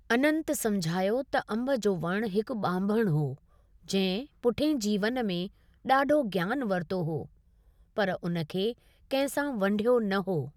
अनंत समुझायो त अंबु जो वणु हिकु ॿांभणु हो, जंहिं पुठियें जीवन में ॾाडो ज्ञान वरितो हो, पर उन खे कंहिं सां वंढियो न हो।